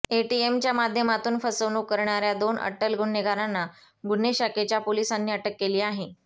एटीएमच्या माध्यमातून फसवणूक करणाऱ्या दोन अट्टल गुन्हेगारांना गुन्हे शाखेच्या पोलिसांनी अटक केली आहे